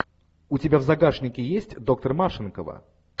у тебя в загашнике есть доктор машинкова